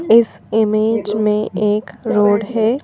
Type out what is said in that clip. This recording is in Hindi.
इस इमेज में एक रोड है।